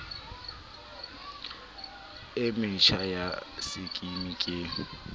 e metjha ya sekimi ke